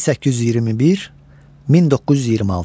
1821-1926.